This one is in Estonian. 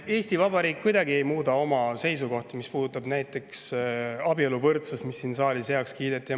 Eesti Vabariik ei muuda kuidagi oma seisukohta näiteks abieluvõrdsuses, mis siin saalis heaks kiideti.